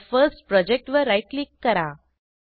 my first project वर right click करा